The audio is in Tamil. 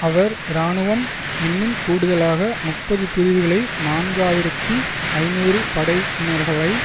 அவர் இராணுவம் இன்னும் கூடுதலாக முப்பது பிரிவுகளை நான்கு ஆயிரத்தி ஐநூறு படையினர்களை